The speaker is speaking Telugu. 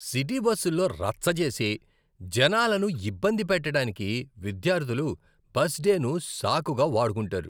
సిటీ బస్సుల్లో రచ్చ చేసి, జనాలను ఇబ్బంది పెట్టటానికి విద్యార్థులు బస్డేను సాకుగా వాడుకుంటారు.